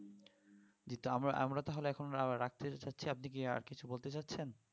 জি আমরা~ আমরা তাহলে এখন রাখতে চাচ্ছি আপনি কি আর কিছু বলতে চাইছেন